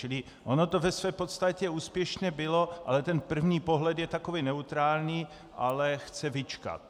Čili ono to ve své podstatě úspěšné bylo, ale ten první pohled je takový neutrální, ale chce vyčkat.